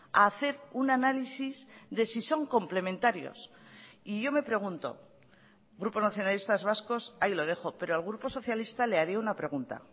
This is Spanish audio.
a hacer un análisis de si son complementarios y yo me pregunto grupo nacionalistas vascos ahí lo dejo pero al grupo socialista le haré una pregunta